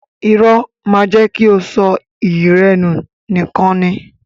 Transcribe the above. Irọ́ máa jẹ́ kí o sọ iyì rẹ nù nìkan ni.